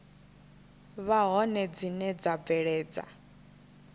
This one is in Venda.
vha hone dzine dza bveledza